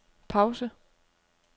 pause